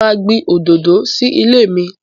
Mo máa gbìn òdòdó sí ilé mi.